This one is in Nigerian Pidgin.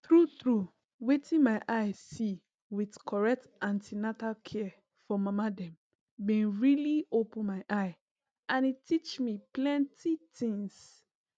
true true wetin my see with correct an ten atal care for mama dem been really open my eye and e teach me plenty things